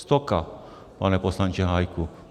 Stoka, pane poslanče Hájku.